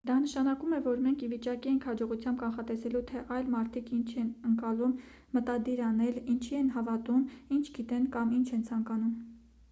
դա նշանակում է որ մենք ի վիճակի ենք հաջողությամբ կանխատեսելու թե այլ մարդիկ ինչ են ընկալում մտադիր անել ինչի են հավատում ինչ գիտեն կամ ինչ են ցանկանում